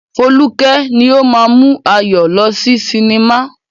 Foluke ni ó máa ń mú Ayọ̀ lọ sí cinema.